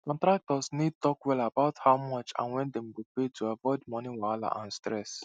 contractors need talk wella about how much and when dem go pay to avoid moni wahala and stress